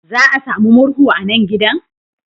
Za a sami murhu a nan gidan?